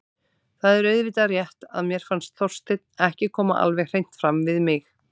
Það er auðvitað rétt að mér fannst Þorsteinn ekki koma alveg hreint fram við mig.